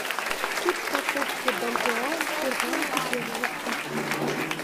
курс покупки бальбоа в сбербанке первого августа